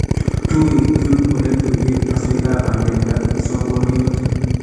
tuitun ole tuiye keswekap bandek ak msogoroit